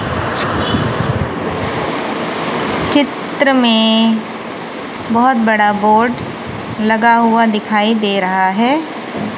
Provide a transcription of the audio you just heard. चित्र में बहुत बड़ा बोर्ड लगा हुआ दिखाई दे रहा है।